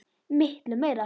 Miklu meira.